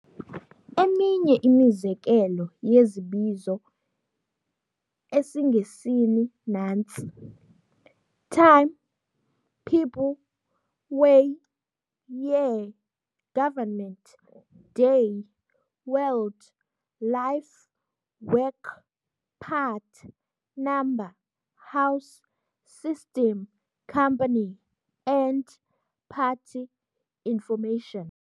Eminye imizekelo yezibizo esiNgesini nantsi- t"ime, people, way, year, government, day, world, life, work, part, number, house, syystem, company, end, party, information".